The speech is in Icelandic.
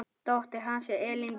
Dóttir hans er Elín Björk.